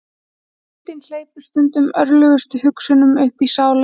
Hvíldin hleypir stundum ótrúlegustu hugsunum uppí sálina.